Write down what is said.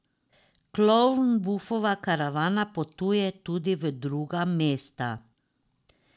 Klovnbufova karavana potuje tudi v druga mesta.